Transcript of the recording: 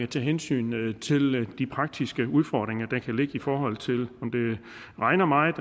tage hensyn til de praktiske udfordringer der kan ligge i forhold til om det regner meget